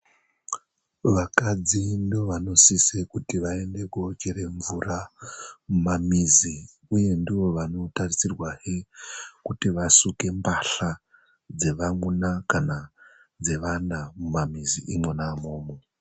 Vakadzi ndoovanosise kuti vaende koochere mvura mumamizi, uye ndoovanotarisirwazve kuti vasuke mbahla dzevamuna kana dzevana mumamizi imwona umomo.